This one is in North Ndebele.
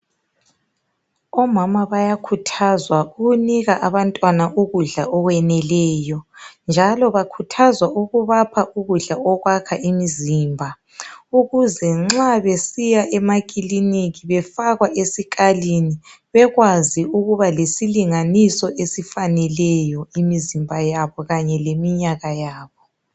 Omama bayakhuthazwa ukunika abantwana ukudla okweneleyo. Njalo bakhuthazwa ukubapha ukudla okwakha imizimba ukuze nxa besiya emakiliniki befakwa esikalini, bekwazi ukuba lesilinganiso esifaneleyo imizimba yabo kanye leminyaka yabo.